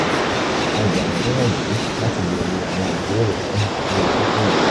a gbà yín níyanjú láti béèrè àwọn ìbéèrè mìíràn lórí kókó yìí